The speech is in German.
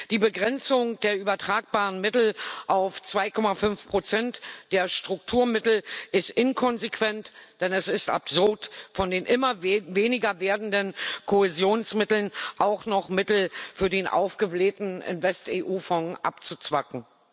Die Begrenzung der übertragbaren Mittel auf 2,5 der Strukturmittel ist inkonsequent, denn es ist absurd, von den immer weniger werdenden Kohäsionsmitteln auch noch Mittel für den aufgeblähten InvestEU Fonds abzuzwacken.